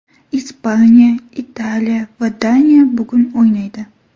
Ispaniya, Italiya va Daniya bugun o‘ynaydi.